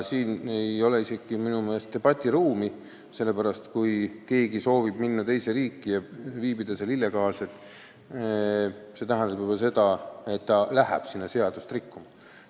Siin ei ole minu meelest isegi debatiruumi, sellepärast et kui keegi soovib teise riiki minna ja seal illegaalselt viibida, siis see tähendab ju ka seda, et ta läheb sinna seadust rikkuma.